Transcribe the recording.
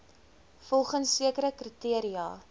volgens sekere kriteria